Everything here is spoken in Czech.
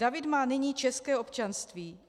David má nyní české občanství.